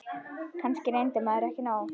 Kannski reyndi maður ekki nóg.